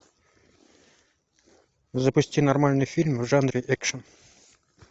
запусти нормальный фильм в жанре экшен